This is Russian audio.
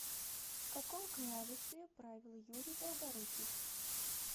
в каком княжестве правил юрий долгорукий